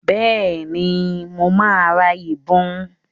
Bẹ́ẹ̀ni, mo máa ra ìbọn.